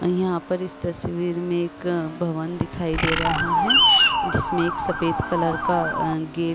यहां पर इस तस्वीर में एक भवन दिखाई दे रहा है जिसमें एक सफेद कलर का गे --